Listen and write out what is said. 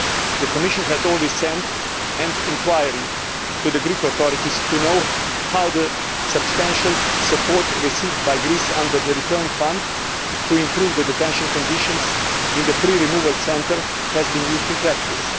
The Commission has already sent an inquiry to the Greek authorities to know how the substantial support received by Greece under the Return Fund to improve detention conditions in the pre removal centre has been used in practice.